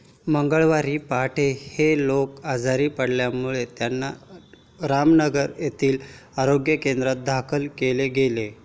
मंगळवारी पहाटे हे लोक आजारी पडल्यामुळे त्यांना रामनगर येथील आरोग्य केंद्रात दाखल केले गेले.